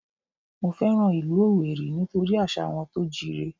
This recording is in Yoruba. Mo fẹ́ràn ìlú Owerri nítorí àṣà wọn tó jíire